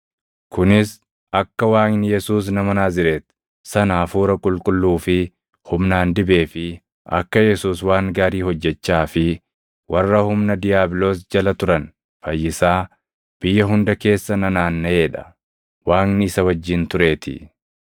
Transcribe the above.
Kunis akka Waaqni Yesuus nama Naazreeti sana Hafuura Qulqulluu fi humnaan dibee fi akka Yesuus waan gaarii hojjechaa fi warra humna diiyaabiloos jala turan fayyisaa biyya hunda keessa nanaannaʼee dha; Waaqni isa wajjin tureetii.